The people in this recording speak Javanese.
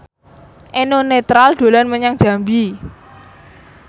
Eno Netral dolan menyang Jambi